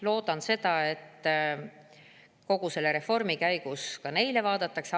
Loodan, et kogu selle reformi käigus neid ka vaadatakse.